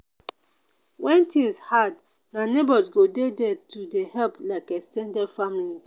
when things hard na neighbors go dey there to help like ex ten ded family.